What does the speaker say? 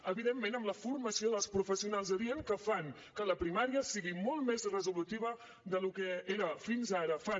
evidentment amb la formació dels professionals adient que fan que la primària sigui molt més resolutiva del que era fins ara fan